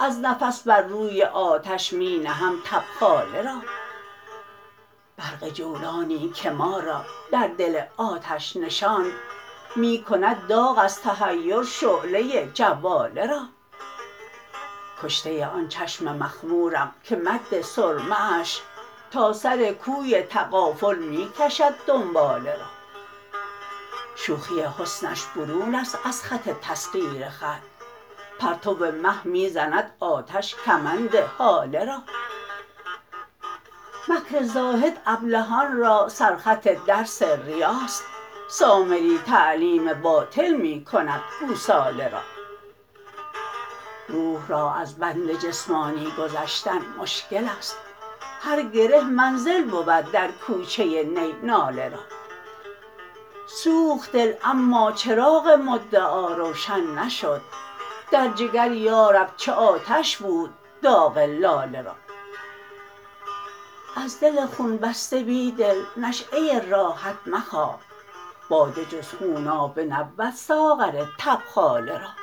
از نفس بر روی آتش می نهم تبخاله را برق جولانی که ما را در دل آتش نشاند می کند داغ ازتحیر شعله جواله را کشته آن چشم مخمورم که مد سرمه اش تا سرکوی تغافل می کشد دنباله را شوخی حسنش برون است ازخط تسخیرخط پرتو مه می زند آتش کمند هاله را مکر زاهد ابلهان را سر خط درس ریاست سامری تعلیم باطل می کندگوساله را روح را از بندجسمانی گذشتن مشکل است هرگره منزل بود درکوچه نی ناله را سوخت دل اما چراغ مدعا روشن نشد در جگریارب چه آتش بود داغ لاله را ازدل خون بسته بیدل نشیه راحت مخواه باده جز خونابه نبود ساغر تبخاله را